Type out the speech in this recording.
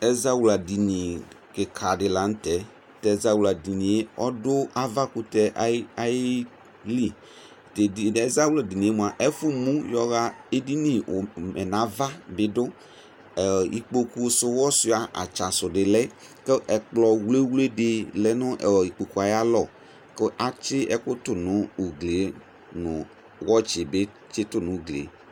Ɛzawla dini kika di la nʋ tɛ Tʋ ɛzawla dini ɔdʋ avakʋtɛ ayi ayi liTʋ azawla dini yɛ moa, ɛfʋ mʋ yɔɣa edini ʋmɛ nava bi dʋ Ikpoku sʋwɔsua atsa sʋ di lɛ kʋ ɔkplɔ wlewle di lɛ nʋ ikpoku e ayalɔ kʋ atsi ɛkʋ tʋ nʋ ugli e, nʋ wɔtsi bi tsitʋ nʋ ugli e